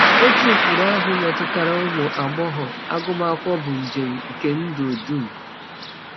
Otu ụkpụrụ ahụ metụtara ụmụ agbọghọ: agụmakwụkwọ bụ njem nke ndụ dum.